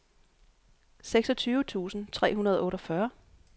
seksogtyve tusind tre hundrede og otteogfyrre